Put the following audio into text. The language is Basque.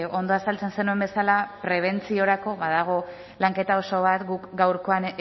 ondo azaltzen zenuen bezala prebentziorako badago lanketa oso bat guk gaurkoan